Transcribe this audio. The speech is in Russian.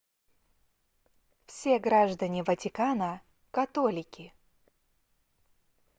все граждане ватикана католики